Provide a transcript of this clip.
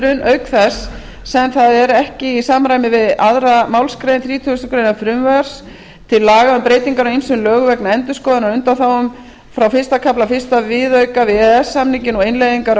viðskiptahindrun auk þess sem það er ekki í samræmi við aðra málsgrein þrítugustu greinar frumvarps til laga um breytingar á ýmsum lögum vegna endurskoðunar á undanþágum frá fyrsta kafla fyrsta viðauka við e e s samninginn og innleiðingar á